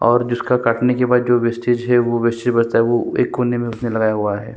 और जिसका काटने के बाद जो वेसटेज है वो वेस्टटेज बचता है वो एक कोने में उसने लगाया हुआ है।